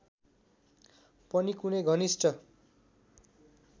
पनि कुनै घनिष्ठ